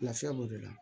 Lafiya b'o de la